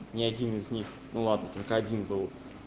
ни один из них ну ладно только один был